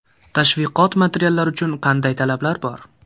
Tashviqot materiallari uchun qanday talablar bor?